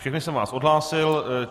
Všechny jsem vás odhlásil.